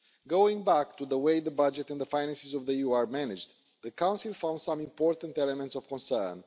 Going back to the way the budget and the finances of the EU are managed, the Council found some important elements of concern.